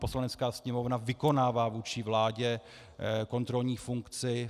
Poslanecká sněmovna vykonává vůči vládě kontrolní funkci.